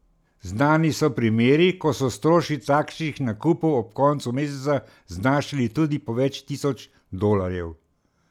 Znani so primeri, ko so stroški takšnih nakupov ob koncu meseca znašali tudi po več tisoč dolarjev.